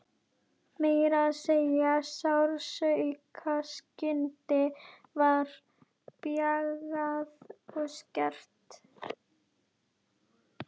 Meira að segja sársaukaskynið var bjagað og skert.